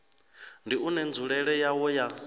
ndi une nzulele yawo ya